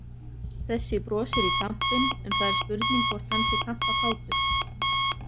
Þessi brosir í kampinn en það er spurning hvort hann sé kampakátur!